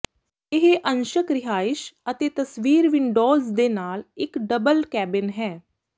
ਇਹ ਅੰਸ਼ਕ ਰਿਹਾਇਸ਼ ਅਤੇ ਤਸਵੀਰ ਵਿੰਡੋਜ਼ ਦੇ ਨਾਲ ਇੱਕ ਡਬਲ ਕੈਬਿਨ ਹੈ